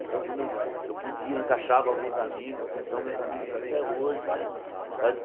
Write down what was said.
Então quando eu eu podia encaixava alguns amigos, que são meus amigos até hoje né.